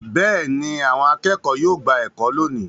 Bẹ́ẹ̀ ni, àwọn akẹ́kọ̀ọ́ yóò gba ẹ̀kọ́ lónìí.